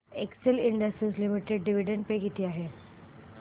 Excel Industries Limited dividend pay किती आहे